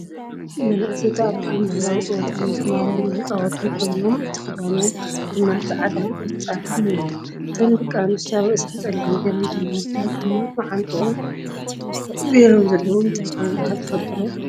መንኣሰይ ተኣኪቦም ባህላዊ ፀወታ ናይ ስማልያ እናተፃወቱ ኮይኖም እቲ ክዳኖም ድማ ፃዕዳን ን ቆፃል እዩ ። እተን ደቂ ኣንስትዮ ኣብ ርእሰን ፀሊም ገይረን ። እቶም ኣወዳት ኣብ ማዓንጥኦ ገይሮሞ ዘለዉ እንታይ ከምዝባሃል ትፈልጡ ዶ ?